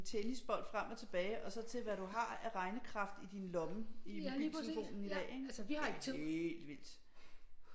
Tennisbold frem og tilbage og så til hvad du har af regnekraft i din lomme i mobiltelefonen i dag ikke det er helt vildt